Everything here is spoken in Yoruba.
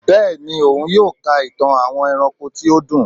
Bẹẹni, òun yóò ká ìtàn àwọn eránkó tí ó dùn